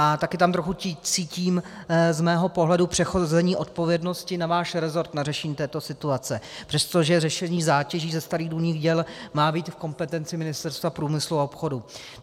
A taky tam trochu cítím z mého pohledu přehození odpovědnosti na váš rezort na řešení této situace, přestože řešení zátěží ze starých důlních děl má být v kompetenci Ministerstva průmyslu a obchodu.